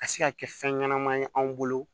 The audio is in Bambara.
Ka se ka kɛ fɛn ɲɛnama ye anw bolo